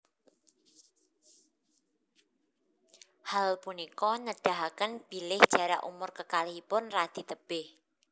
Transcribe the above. Hal punika nedahaken bilih jarak umur kekalihipun radi tebih